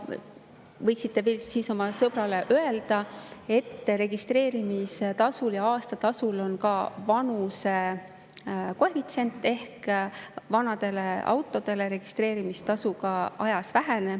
Võiksite oma sõbrale veel öelda, et registreerimistasul ja aasta on ka vanuse koefitsient ehk vanade autode registreerimistasu ajas väheneb.